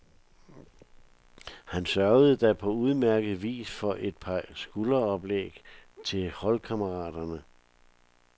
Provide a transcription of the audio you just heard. Han sørgede da på udmærket vis for et par skudoplæg til holdkammeraterne.